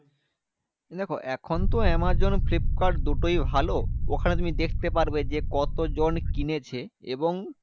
দেখো এখনতো Amazon Flipkart দুটোই ভালো। ওখানে তুমি দেখতে পারবে যে, কতজন কিনেছে? এবং